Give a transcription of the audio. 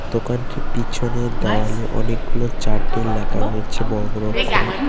দোকানটি পিছনের দেওয়ালে অনেকগুলো চার্ট এ লেখা রয়েছে বড় বড় অক্ষরের ।